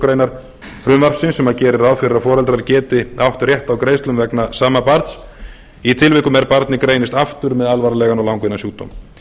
greinar frumvarpsins sem gerir ráð fyrir að foreldrar geti átt rétt á greiðslum vegna sama barns í tilvikum er barnið greinist aftur með alvarlegan og langvinnan sjúkdóm